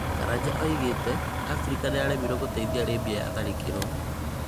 Karanja oigĩte Afrika nĩyaremirũo gũteithia Libya yatharĩkĩrũo'